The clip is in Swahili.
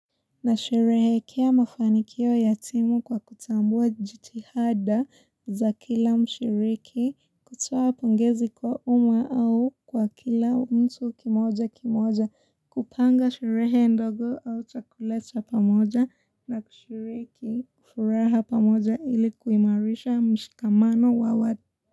Na sherehekea mafanikio ya timu kwa kutambua jitihada za kila mshiriki kutoa pongezi kwa umma au kwa kila mtu kimoja kimoja kupanga sherehe ndogo au chakula cha pamoja na kushiriki kufuraha pamoja ili kuimarisha mshikamano wa watu.